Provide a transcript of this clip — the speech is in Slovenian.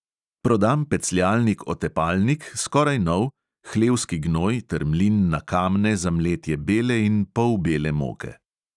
Prodam pecljalnik otepalnik, skoraj nov, hlevski gnoj ter mlin na kamne za mletje bele in polbele moke.